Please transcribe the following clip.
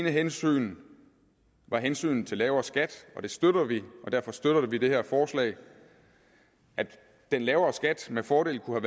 hensyn var hensynet til lavere skat og det støtter vi og derfor støtter vi det her forslag at den lavere skat med fordel kunne